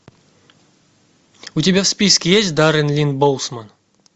у тебя в списке есть даррен линн боусман